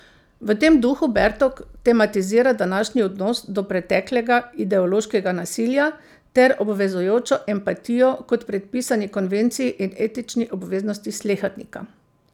V tem duhu Bertok tematizira današnji odnos do preteklega ideološkega nasilja ter obvezujočo empatijo kot predpisani konvenciji in etični obveznosti slehernika.